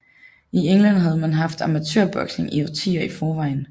I England havde man haft amatørboksning i årtier i forvejen